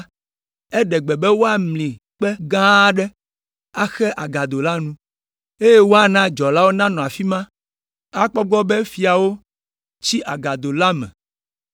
eɖe gbe be woamli kpe gã aɖe axe agado la nu, eye woana dzɔlawo nanɔ afi ma akpɔ egbɔ be fiawo tsi agado la me.